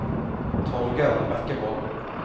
Torger Bekkevold